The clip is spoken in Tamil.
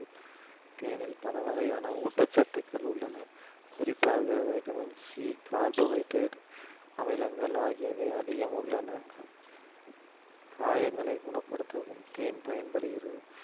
தேனில் பல வகையான ஊட்டச்சத்துக்கள் உள்ளன குறிப்பாக vitamin C carbohydrate அமிலங்கள் ஆகியவை அதிகம் உள்ளன காயங்களை குணப்படுத்தவும் தேன் பயன்படுகிறது